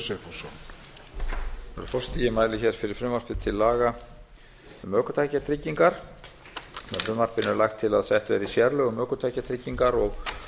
herra forseti ég mæli hér fyrir frumvarpi til laga um ökutækjatryggingar með frumvarpinu er lagt til að sett verði sérlög um ökutækjatryggingar og